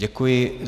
Děkuji.